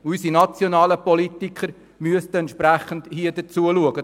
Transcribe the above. Unsere nationalen Politiker müssten sich dementsprechend um das Problem kümmern.